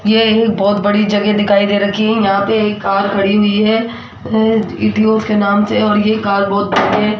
ये एक बहोत बड़ी जगह दिखाई दे रखी है यहां पे एक कार खड़ी हुई है इडियो के नाम से और ये कार बहोत बड़े है।